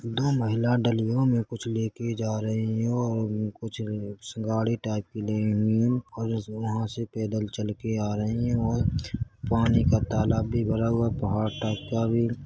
दो महिला डलियों में कुछ लेकर जा रही है और कुछ उम सिंघाड़े टाइप के ली हुई है और उसमे वहाँ से पैदल चलके आ रही है और पानी का तालाब भी भरा हुआ है पहाड़ टाइप का भी --